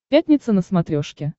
пятница на смотрешке